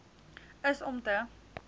is om te